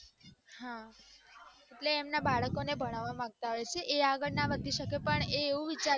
હા એટલે એમ કે એના બાળકોને ભણવા માંગતા હોઈ છે પણ એ આગળ ના આવી શક્ય હોઈ પણ એ એવું વિચારે કે